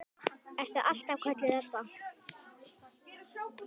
Ertu alltaf kölluð Ebba?